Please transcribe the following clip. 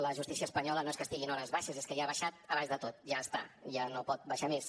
la justícia espanyola no és que estigui en hores baixes ja és que ha baixat a baix de tot ja està ja no pot baixar més